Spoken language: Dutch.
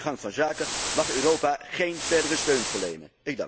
Aan deze gang van zaken mag Europa geen verdere steun verlenen.